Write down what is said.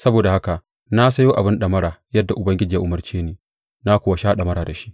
Saboda haka na sayo abin ɗamara, yadda Ubangiji ya umarce ni, na kuwa sha ɗamara da shi.